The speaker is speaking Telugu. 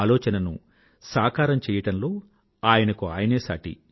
ఆలోచనను సాకారం చెయ్యడంలో ఆయనకు ఆయనే సాటి